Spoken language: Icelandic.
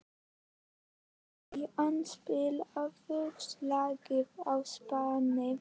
Maríanna, spilaðu lagið „Á Spáni“.